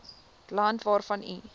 land waarvan u